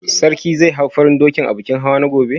Sarki zai hau farin dokin a bikin hawa na gobe?